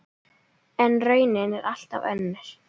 En raunin er allt önnur.